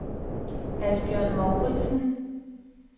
Asbjørn Mouritzen